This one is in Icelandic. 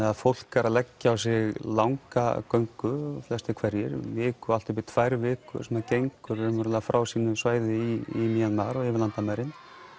að fólk er að leggja á sig langa göngu flestir hverjir viku og allt upp í tvær vikur sem það gengur frá sínu svæði í mar og yfir landamærin